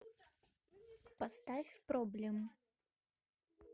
поставь проблем